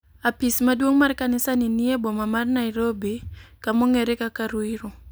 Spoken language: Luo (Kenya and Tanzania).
Apis maduong' mar kanisa ni nie boma mar Nairobi kamong'ere kaka Ruiru.